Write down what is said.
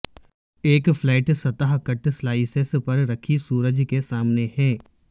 ایک فلیٹ سطح کٹ سلائسین پر رکھی سورج کے سامنے ہیں